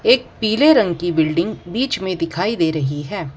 एक पीले रंग की बिल्डिंग बीच में दिखाई दे रही है।